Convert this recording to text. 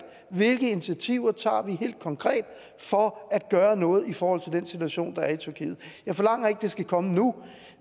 hvilke initiativer vi helt konkret tager for at gøre noget i forhold til den situation der er i tyrkiet jeg forlanger ikke at det skal komme nu